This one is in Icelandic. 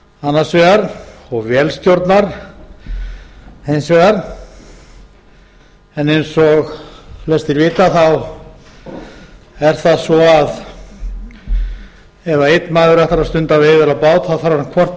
annars vegar og vélstjórnar hins vegar en eins og flestir vita er það svo að ef einn maður ætlar að stunda veiðar á bát þarf hann hvort